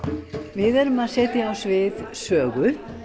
við erum að setja á svið sögu